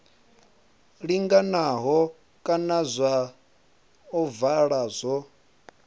linganaho kana zwa ovala zwo